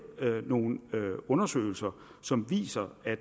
nogle undersøgelser som viser at